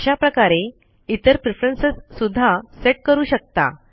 आशा प्रकारे इतर प्रेफरन्स सुद्धा सेट करू शकता